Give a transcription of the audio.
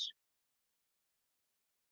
Spila golf?